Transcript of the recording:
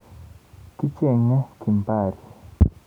Kicheng'e Kimbari.